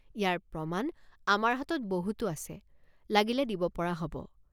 ইয়াৰ প্ৰমাণ আমাৰ হাতত বহুতো আছে লাগিলে দিব পৰা হ'ব।